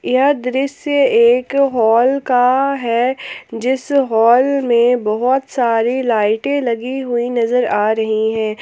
यह दृश्य एक हॉल का है जिस हाल में बहोत सारी लाइटें लगी हुई नजर आ रही है।